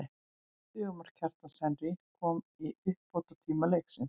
Sigurmark, Kjartans Henry kom í uppbótartíma leiksins.